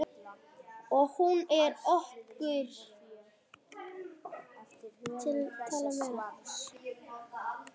Og hún er okkar.